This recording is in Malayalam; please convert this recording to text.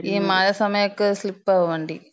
ഈ മഴ സമയൊക്കെ സ്ലിപ്പാവും വണ്ടി.